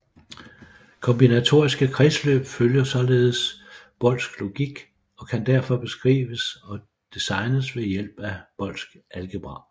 Kombinatoriske kredsløb følger således Boolsk logik og kan derfor beskrives og designes ved hjælp af Boolsk algebra